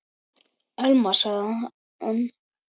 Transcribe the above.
Elma- sagði hann.